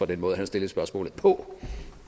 den måde han stillede spørgsmålet på